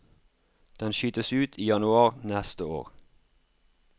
Den skytes ut i januar neste år.